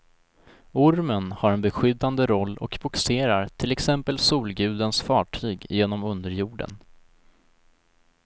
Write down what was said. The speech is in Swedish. Ormen har en beskyddande roll och bogserar till exempel solgudens fartyg genom underjorden.